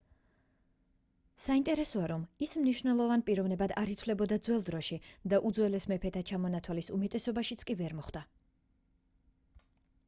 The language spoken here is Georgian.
საინტერესოა რომ ის მნიშვნელოვან პიროვნებად არ ითვლებოდა ძველ დროში და უძველეს მეფეთა ჩამონთვალის უმეტესობაშიც ვერ მოხვდა